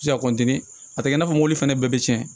Se ka a tɛ i n'a fɔ mobili fɛnɛ bɛɛ bɛ tiɲɛ